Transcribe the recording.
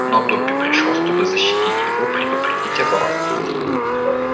но добби пришёл чтобы защитить его предупредить об опасности